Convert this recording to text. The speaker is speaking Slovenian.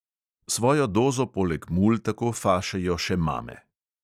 Svojo dozo poleg mul tako fašejo še mame.